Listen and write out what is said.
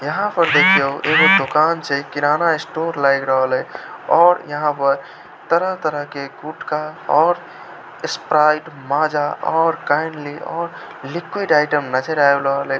यहां पर एक दुकान से किराना स्टोर लेग रहले और यहां पर तरह-तरह के फ्रूट का Sprite Maaza kindly liquid item नजर आब रहले।